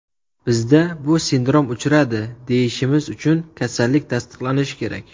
Bizda bu sindrom uchradi, deyishimiz uchun kasallik tasdiqlanishi kerak.